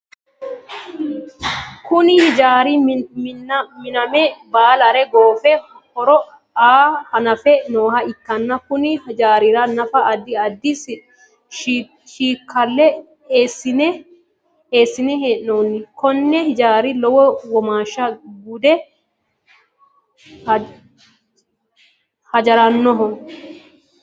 Kunni hijaara minname baalare goofe horo aa hannafe nooha ikanna konni hijaarira nafara addi addi shakila eesine hee'noonni konne hijaara lowo womaasha gunde hijaaroonniho.